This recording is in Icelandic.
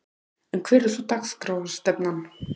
En hver er svo dagskrárstefnan?